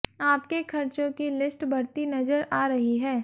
आपके खर्चों की लिस्ट बढ़ती नजर आ रही है